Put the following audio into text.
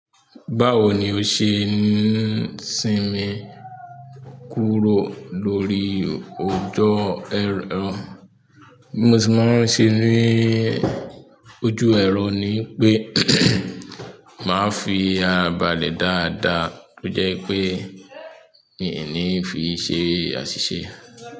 Báwo ni o se n sinmin kúrò lórí ọjọ. Bí mo ṣe máa ń ṣe ní ojú ẹ̀rọ ni pé màá fi àra bàlẹ̀ dáadáa tó jẹ́ pé mi ò ní fi ṣe àṣìṣe.